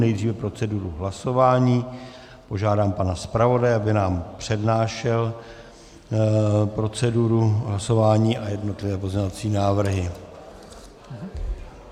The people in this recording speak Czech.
Nejdříve proceduru hlasování, požádám pana zpravodaje, aby nám přednášel proceduru hlasování a jednotlivé pozměňovací návrhy.